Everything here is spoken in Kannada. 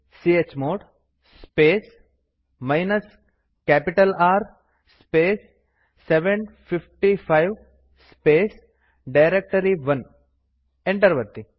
chmod space minus capital R space 755 space ಡೈರೆಕ್ಟರಿ1 ಎಂಟರ್ ಒತ್ತಿ